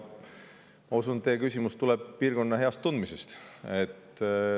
Ma usun, et teie küsimus tuleb piirkonna heast tundmisest.